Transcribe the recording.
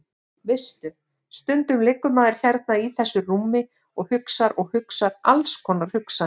Veistu. stundum liggur maður hérna í þessu rúmi og hugsar og hugsar alls konar hugsanir.